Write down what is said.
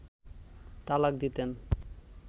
তালাক দিতেন